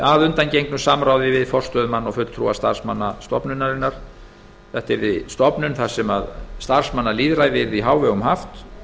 að undangengnu samráði við forstöðumann og fulltrúa starfsmanna stofnunarinnar þetta yrði stofnun þar sem starfsmannalýðræði yrði í hávegum haft